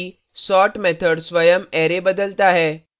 ध्यान दें कि sort method स्वयं array बदलता है